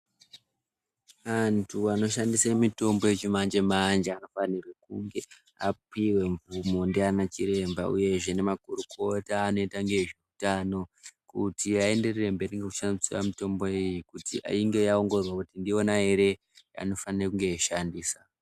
Antu anoshandisa mitombo yechimanjemanje anofanire kunge apiwa mvumo ndiana chiremba uyezve nemakurukota anoita ngezve utano kuti aenderere mberi nekushandise mitombo iyi kuti inge yaongororwa kuti ndiyona ere yaanofanire kunge veishandisa.